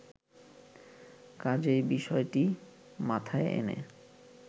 কাজেই বিষয়টি মাথায় এনে